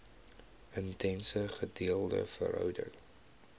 intense gedeelde verhouding